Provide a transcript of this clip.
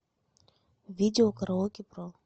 видео караоке про